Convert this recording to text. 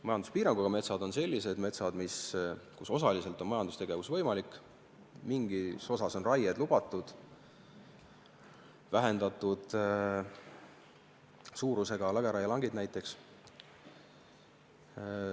Majanduspiiranguga metsad on sellised metsad, kus osaliselt on majandustegevus võimalik, mingis osas on raie lubatud, näiteks vähendatud suurusega lageraielankidel.